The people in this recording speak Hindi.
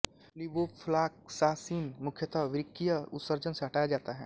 लिवोफ़्लॉक्सासिन मुख्यतः वृक्कीय उत्सर्जन से हटाया जाता है